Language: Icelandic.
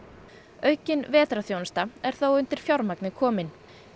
aukin vetrarþjónusta er þó undir fjármagni komin